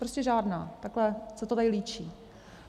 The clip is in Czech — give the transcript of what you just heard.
Prostě žádná, takhle se to tady líčí.